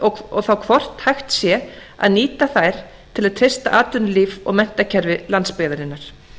og þá hvort hægt sé að nýta þær til að treysta atvinnulíf og menntakerfi landsbyggðarinnar